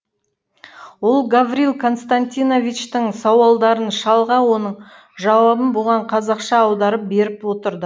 ол гаврил константиновичтің сауалдарын шалға оның жауабын бұған қазақша аударып беріп отырды